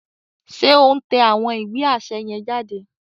Ṣe o n tẹ awọn ìwé aṣẹ yen jáde?